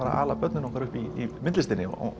að ala börnin upp í myndlistinni og